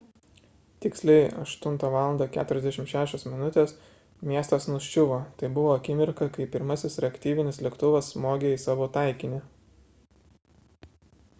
tiksliai 8.46 val miestas nuščiuvo – tai buvo akimirka kai pirmasis reaktyvinis lėktuvas smogė į savo taikinį